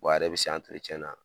Wa a yɛrɛ bɛ se na